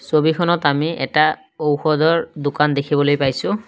ছবিখনত আমি এটা ঔষধৰ দোকান দেখিবলৈ পাইছোঁ।